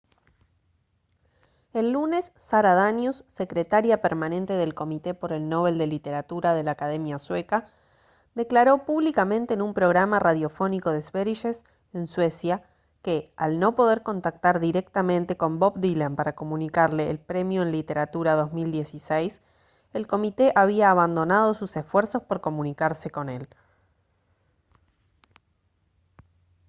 el lunes sara danius secretaria permanente del comité por el nobel de literatura de la academia sueca declaró públicamente en un programa radiofónico de sveriges en suecia que al no poder contactar directamente con bob dylan para comunicarle el premio en literatura 2016 el comité había abandonado sus esfuerzos por comunicarse con él